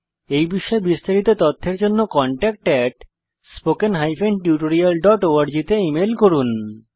এই বিষয়ে বিস্তারিত তথ্যের জন্য কনট্যাক্ট spoken tutorialorg তে ইমেল করুন